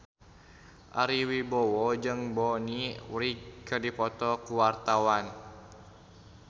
Ari Wibowo jeung Bonnie Wright keur dipoto ku wartawan